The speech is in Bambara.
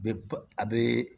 Bɛ ba a bɛ